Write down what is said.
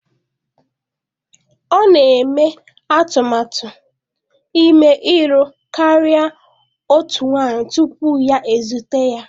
Ọ na-eme atụmatụ ime ịlụ karịa otu nwanyị tupu ya ezute ya.